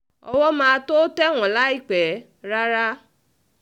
owó máa tóó tẹ̀ wọ́n láìpẹ́ rárá